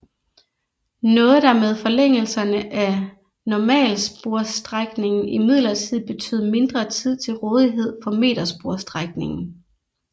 Noget der med forlængelserne af normalsporsstrækningen imidlertid betød mindre tid til rådighed for metersporsstrækningen